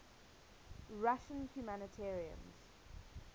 russian humanitarians